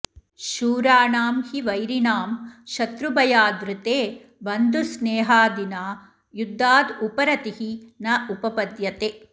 शूराणां हि वैरिणां शत्रुभयाद् ऋते बन्धुस्नेहादिना युद्धाद् उपरतिः न उपपद्यते